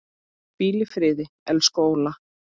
Hvíl í friði, elsku Óla.